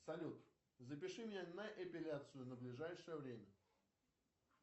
салют запиши меня на эпиляцию на ближайшее время